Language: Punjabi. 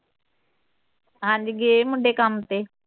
ਹਾਂ ਜੀ ਗਏ ਮੁੰਡੇ ਕੰਮ ਤੇ